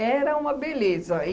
Era uma beleza.